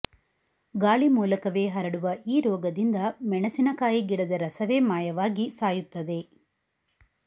ಗಾಳಿ ಮೂಲಕವೇ ಹರಡುವ ಈ ರೋಗದಿಂದ ಮೆಣಸಿನಕಾಯಿ ಗಿಡದ ರಸವೇ ಮಾಯವಾಗಿ ಸಾಯುತ್ತದೆ